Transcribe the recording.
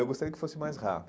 Eu gostaria que fosse mais